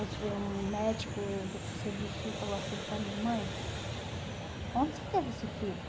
O o médico do Conselho do Sul falou assim para mim, mãe, onde você teve esse filho?